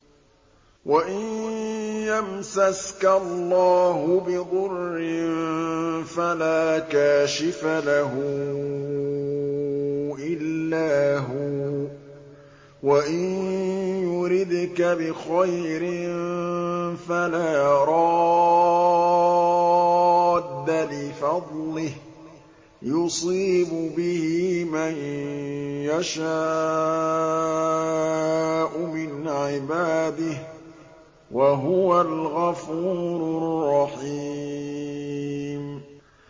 وَإِن يَمْسَسْكَ اللَّهُ بِضُرٍّ فَلَا كَاشِفَ لَهُ إِلَّا هُوَ ۖ وَإِن يُرِدْكَ بِخَيْرٍ فَلَا رَادَّ لِفَضْلِهِ ۚ يُصِيبُ بِهِ مَن يَشَاءُ مِنْ عِبَادِهِ ۚ وَهُوَ الْغَفُورُ الرَّحِيمُ